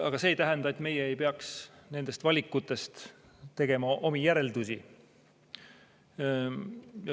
Aga see ei tähenda, et me ei peaks nendest valikutest tegema omi järeldusi.